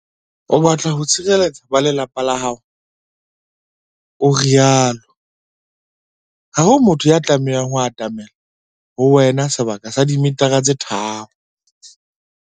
"O batla ho tshireletsa ba lelapa la hao," o rialo. Ha ho motho ya tlamehang ho atamela ho wena sebaka sa dimetara tse tharo.